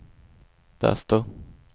desto